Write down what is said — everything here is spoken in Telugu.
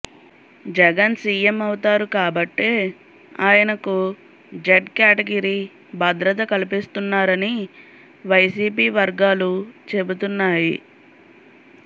జగన్ సీఎం అవుతారు కాబట్టే ఆయనకు జెడ్ కేటగిరీ భద్రత కల్పిస్తున్నారని వైసీపీ వర్గాలు చెబుతున్నాయి